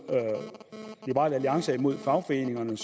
liberal alliance er imod fagforeningerne